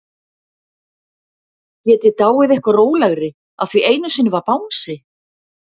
Get ég dáið eitthvað rólegri af því einu sinni var bangsi?